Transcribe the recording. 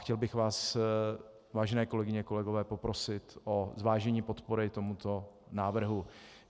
Chtěl bych vás, vážené kolegyně, kolegové, poprosit o zvážení podpory tomuto návrhu.